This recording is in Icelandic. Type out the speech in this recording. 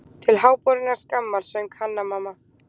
Til háborinnar skammar, söng Hanna-Mamma.